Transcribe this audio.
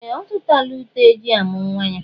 Ee! Ọ zụtala uté e ji amụ̀ nwa ya.